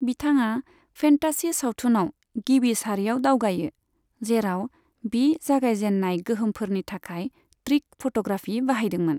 बिथाङा फेन्तासी सावथुनआव गिबि सारिआव दावगायो, जेराव बि जागायजेननाय गोहोमफोरनि थाखाय ट्रिक फ'ट'ग्राफी बाहायदोंमोन।